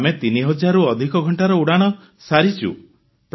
ଆମେ 3000ରୁ ଅଧିକ ଘଂଟାର ଉଡ଼ାଣ କରିସାରିଛୁ